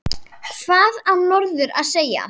Hvað á norður að segja?